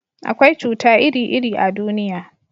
akwai cuta iri iri a duniya